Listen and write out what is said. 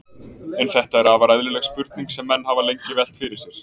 En þetta er afar eðlileg spurning sem menn hafa lengi velt fyrir sér.